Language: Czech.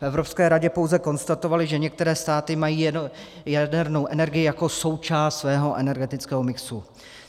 V Evropské radě pouze konstatovali, že některé státy mají jadernou energii jako součást svého energetického mixu.